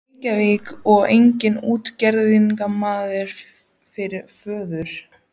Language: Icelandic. í Reykjavík og eiga útgerðarmann fyrir föður.